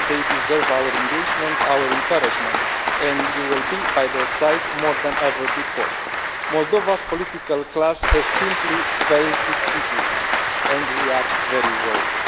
they deserve our engagement, our encouragement, and we will be at their side more than ever before. Moldova's political class has simply failed its citizens, and we are very worried.